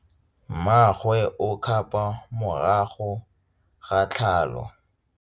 Mmagwe o kgapô morago ga tlhalô.